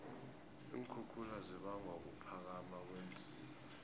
iinkhukhula zibangwa kuphakama kweenziba